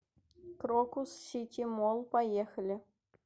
крокус сити молл поехали